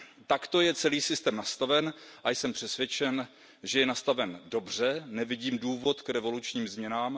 Takto je celý systém nastaven a jsem přesvědčen, že je nastaven dobře, nevidím důvod k revolučním změnám.